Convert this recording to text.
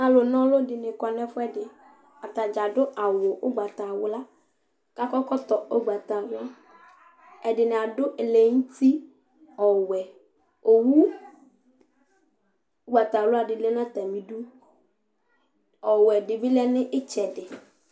Alʋna ɔlʋ dɩnɩ kɔ nʋ ɛfʋɛdɩ Ata dza adʋ awʋ ʋgbatawla kʋ akɔ ɛkɔtɔ ʋgbatawla Ɛdɩnɩ adʋ ɛlɛnʋti ɔwɛ Owu ʋgbatawla dɩ lɛ nʋ atamɩdu Ɔwɛ dɩ bɩ lɛ nʋ ɩtsɛdɩ